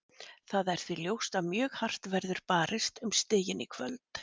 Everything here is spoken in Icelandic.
Það er því ljóst að mjög hart verður barist um stigin í kvöld.